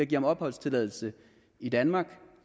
give ham opholdstilladelse i danmark